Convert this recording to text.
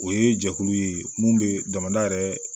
O ye jɛkulu ye mun bɛ jamana yɛrɛ